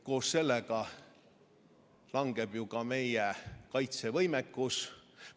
Koos sellega langeb ju ka meie kaitsevõimekus.